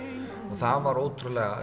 og það var ótrúlega